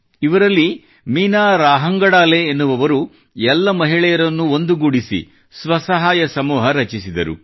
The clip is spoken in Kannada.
ಇವರಲ್ಲಿ ಮೀನಾ ರಾಹಂಗಡಾಲೆ ಎನ್ನುವವರು ಎಲ್ಲ ಮಹಿಳೆಯರನ್ನೂ ಒಂದುಗೂಡಿಸಿ ಸ್ವಸಹಾಯ ಸಮೂಹʼ ರಚಿಸಿದರು